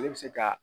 Ale bɛ se ka